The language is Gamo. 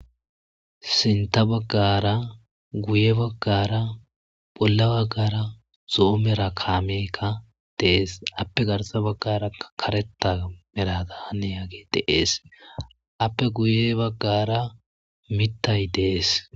Sinta baggara guye baggara bolla baggara zoomera kaameykka dees appe garsa baggara kareta merada hane yaage deees appe guye baggara mittay dees.